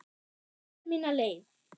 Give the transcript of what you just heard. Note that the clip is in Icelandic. Fer mína leið.